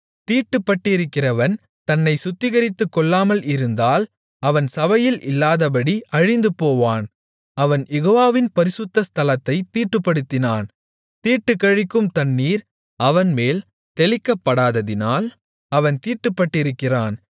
தீட்டுப்பட்டிருக்கிறவன் தன்னைச் சுத்திகரித்துக்கொள்ளாமல் இருந்தால் அவன் சபையில் இல்லாதபடி அழிந்துபோவான் அவன் யெகோவாவின் பரிசுத்த ஸ்தலத்தைத் தீட்டுப்படுத்தினான் தீட்டுக்கழிக்கும் தண்ணீர் அவன்மேல் தெளிக்கப்படாததினால் அவன் தீட்டுப்பட்டிருக்கிறான்